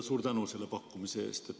Suur tänu selle pakkumise eest!